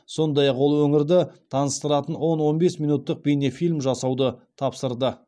сондай ақ ол өңірді таныстыратын он он бес минуттық бейнефильм жасауды тапсырды